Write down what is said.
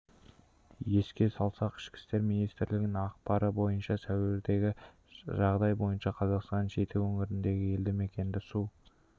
еске салсақ ішкі істер министрлігінің ақпары бойынша сәуірдегі жағдай бойынша қазақстанның жеті өңіріндегі елді мекенді су